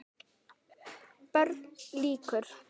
BÖRN LÝKUR